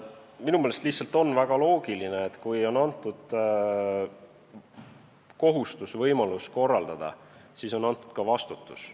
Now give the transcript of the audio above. Minu meelest lihtsalt on väga loogiline, et kui on antud kohustus ja võimalus korraldada, siis on antud ka vastutus.